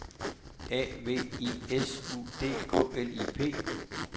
A V I S U D K L I P